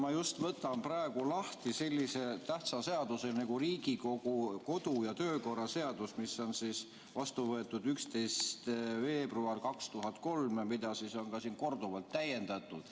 Ma just võtan praegu lahti sellise tähtsa seaduse nagu Riigikogu kodu- ja töökorra seadus, mis on vastu võetud 11. veebruaril 2003 ja mida on korduvalt täiendatud.